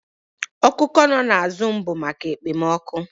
Oku oko no na azụm bụ maka ekpomọkụ